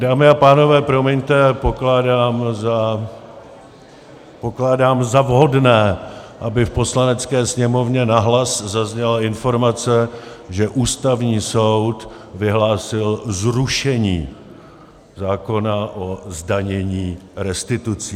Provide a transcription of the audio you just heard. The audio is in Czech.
Dámy a pánové, promiňte, pokládám za vhodné, aby v Poslanecké sněmovně nahlas zazněla informace, že Ústavní soud vyhlásil zrušení zákona o zdanění restitucí.